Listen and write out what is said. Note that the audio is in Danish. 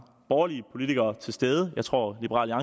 borgerlige politikere til stede jeg tror at liberal